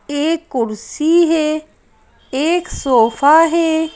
एक कुर्सी है एक सोफा है।